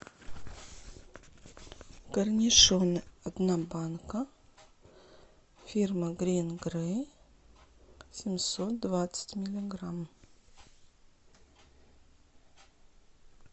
корнишоны одна банка фирма грин грей семьсот двадцать миллиграмм